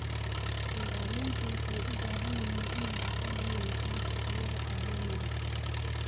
Beeraleydu waxay u baahan yihiin inay aqoon u yeeshaan suuqyada caalamiga ah.